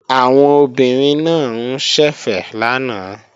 Àwọn obìnrin náà ń ṣẹ̀fẹ̀ lánàá